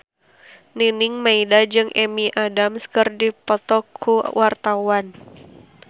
Nining Meida jeung Amy Adams keur dipoto ku wartawan